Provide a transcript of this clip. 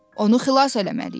Onu xilas eləməliyik.